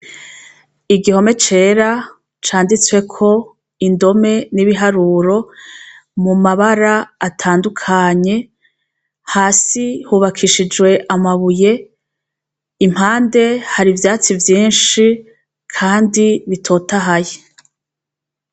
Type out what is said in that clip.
igihome cera canditswe ko indome n'ibiharuro mu mabara atandukanye hasi hubakishijwe amabuye impande hari ivyatsi vyinshi kandi bitotahaye